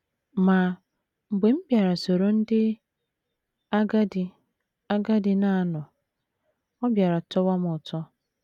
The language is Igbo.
Ma, mgbe m bịara soro ndị agadi agadi na - anọ, ọ bịara tọwa m ụtọ.